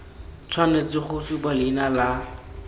tshwanetse go supa leina la